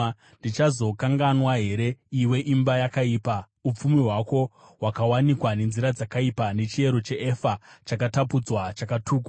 Ndichazokanganwa here, iwe imba yakaipa, upfumi hwako hwakawanikwa nenzira dzakaipa, nechiero cheefa chakatapudzwa, chakatukwa?